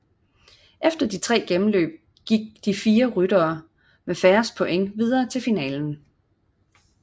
Efter de tre gennemløb gik de fire ryttere med færrest points videre til finalen